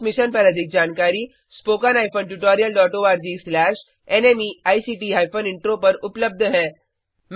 इस मिशन पर अधिक जानकारी httpspoken tutorialorgNMEICT Intro पर उपलब्ध है